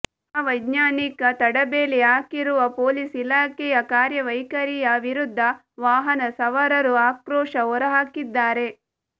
ಅವೈಜ್ಞಾನಿಕ ತಡಬೇಲಿ ಹಾಕಿರುವ ಪೊಲೀಸ್ ಇಲಾಖೆಯ ಕಾರ್ಯವೈಖರಿಯ ವಿರುದ್ದ ವಾಹನ ಸವಾರರು ಆಕ್ರೋಶ ಹೊರಹಾಕಿದ್ದಾರೆ